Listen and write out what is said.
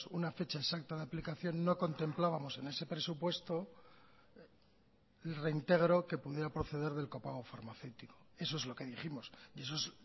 una fecha exacta de aplicación no contemplábamos en ese presupuesto reintegro que pudiera proceder del copago farmacéutico eso es lo que dijimos y eso es